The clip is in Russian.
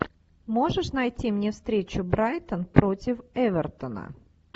можешь найти мне встречу брайтон против эвертона